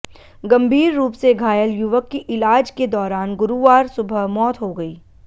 गंभीर रुप से घायल युवक की इलाज के दौरान गुरुवार सुबह मौत हो गई